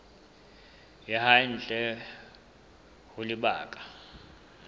ya hae ntle ho lebaka